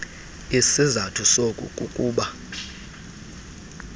isizathu soku kukuba